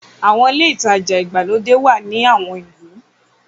Àwọn ilé-ìtajà ìgbàlódé wà ní àwọn ìlú.